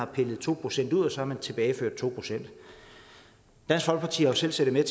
pillet to procent ud og så har man tilbageført to procent dansk folkeparti har selv siddet med